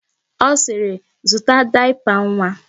Ọ sịrị, zụta dayapa nwa!